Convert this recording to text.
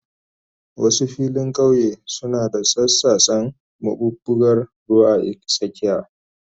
Wasu filin kauye suna da tsattsasen maɓuɓɓugar ruwa a tsakiya.